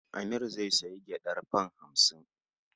Amir zai sayi gyaɗar fam hamsin.